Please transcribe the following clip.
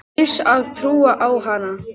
Kaus að trúa á hana.